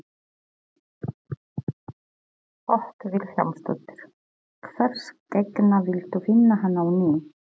Hödd Vilhjálmsdóttir: Hvers gegna villtu finna hann á ný?